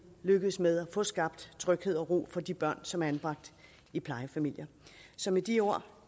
lykkes med at få skabt tryghed og ro for de børn som er anbragt i plejefamilier så med de ord